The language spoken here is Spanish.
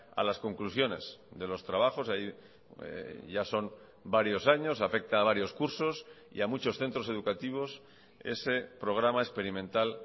a las conclusiones de los trabajos ya son varios años afecta a varios cursos y a muchos centros educativos ese programa experimental